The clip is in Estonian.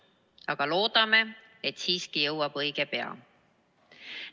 Aga loodame, et see jõuab õige pea.